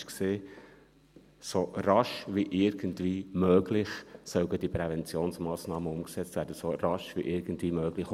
Die Präventionsmassnahmen sollen «so rasch wie irgendwie möglich» umgesetzt werden, «so rasch wie irgendwie möglich».